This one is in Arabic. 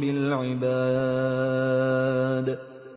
بِالْعِبَادِ